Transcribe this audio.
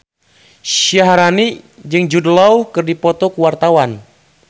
Syaharani jeung Jude Law keur dipoto ku wartawan